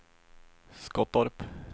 Skottorp